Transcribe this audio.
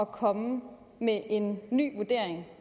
komme med en ny vurdering